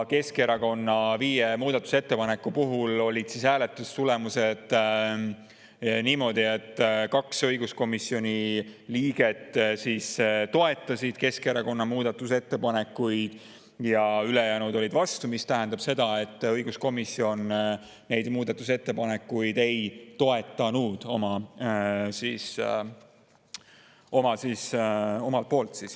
Keskerakonna viie muudatusettepaneku hääletustulemused olid sellised, et 2 õiguskomisjoni liiget toetasid Keskerakonna muudatusettepanekuid ja ülejäänud olid vastu, mis tähendab seda, et õiguskomisjon neid muudatusettepanekuid ei toetanud.